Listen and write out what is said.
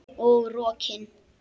Og rokin.